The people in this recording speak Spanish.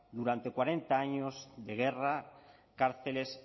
durante cuarenta años de guerra cárceles